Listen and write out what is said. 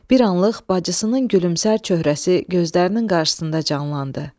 Bir anlıq bacısının gülümsər çöhrəsi gözlərinin qarşısında canlandı.